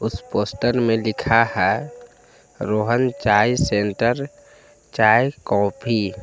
इस पोस्टर में लिखा है रोहन चाय सेंटर चाय कॉफी